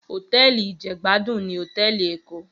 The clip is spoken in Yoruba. Hótèlí ijègbádún ni hótèlí Ékó